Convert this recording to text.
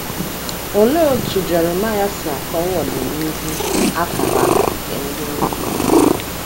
Olee otú Jeremaịa si akọwa ọdịnihu a kara aka nke ndị nnupụisi?